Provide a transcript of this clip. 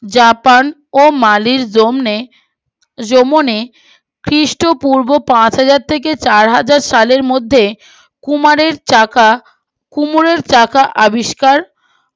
Japan ও মালির দৌইনে খ্রীষ্ট পূর্ব পাঁচ হাজার থেকে চার হাজার সালের মধ্যে কুমারের চাকা কুমোরের চাকা আবিষ্কার আবিষ্কৃত হয়েছিল